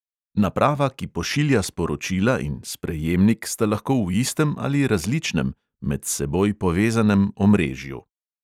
Naprava, ki pošilja sporočila, in sprejemnik sta lahko v istem ali različnem (med seboj povezanem) omrežju.